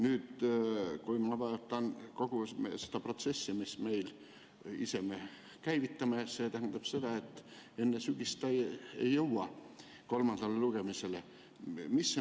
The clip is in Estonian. Nüüd, kui ma vaatan kogu seda protsessi, mille me ise käivitasime, siis see tähendab, et enne sügist see ei jõua kolmandale lugemisele.